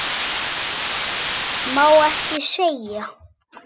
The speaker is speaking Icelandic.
Má ekki segja.